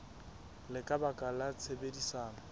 le ka baka la tshebedisano